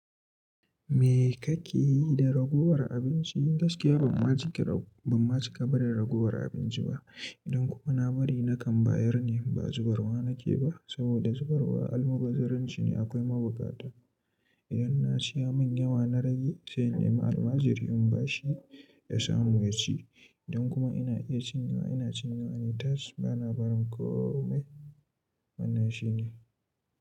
Me kake yi da ragowar abinci? Gaskiya ban ma cika barin ragowar abinci ba. Idan kuma na bari nakan bayar ne ba zubarwa nake ba saboda zubarwa almubazzaranci ne akwai mabukata. Idan na ci ya mun yawa na rage sai in ne ma almajiri in bashi ya samu yaci. Idan kuma ina iya cinyewa ina cinyewa na tashi ba na barin komai wannan shi ne.